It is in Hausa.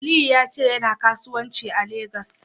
Aliyu ya ce yana kasuwanci a Legas.